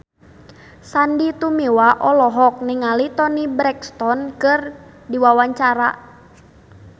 Sandy Tumiwa olohok ningali Toni Brexton keur diwawancara